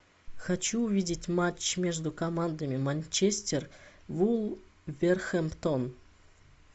хочу увидеть матч между командами манчестер вулверхэмптон